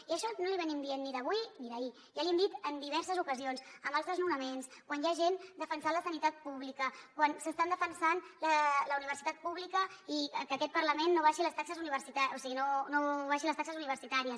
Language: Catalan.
i això no l’hi estem dient des d’avui ni des d’ahir ja l’hi hem dit en diverses ocasions amb els desnonaments quan hi ha gent defensant la sanitat pública quan s’està defensant la universitat pública i que aquest parlament no abaixi les taxes universitàries